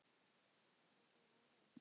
Magnea Hrönn.